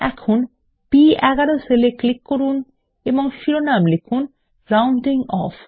এখন বি11 সেল এ ক্লিক করুন এবং শিরোনাম লিখুন রাউনডিং অফ